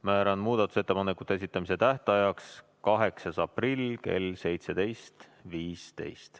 Määran muudatusettepanekute esitamise tähtajaks 8. aprilli kell 17.15.